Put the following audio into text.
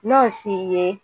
Nɔnsi ye